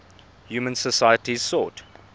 human societies sought